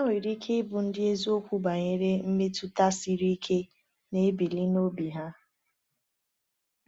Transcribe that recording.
Ha nwere ike ịbụ ndị eziokwu banyere mmetụta siri ike na-ebili n’obi ha.